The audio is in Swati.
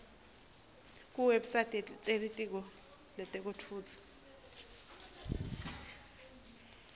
kuwebsite yelitiko letekutfutsa